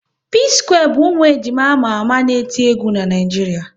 P-square bụ ụmụ ejima ama ama n'eti egwu n'Naijiria